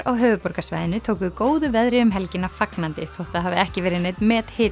á höfuðborgarsvæðinu tóku góðu veðri um helgina fagnandi þótt það hafi ekki verið neinn